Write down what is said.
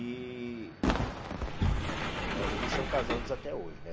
E né eles são casados até hoje, né?